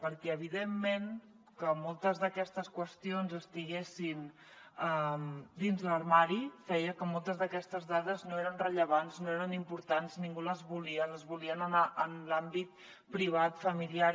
perquè evidentment que moltes d’aquestes qüestions estiguessin dins l’armari feia que moltes d’aquestes dades no fossin rellevants no fossin importants ningú les volia les volien en l’àmbit privat familiar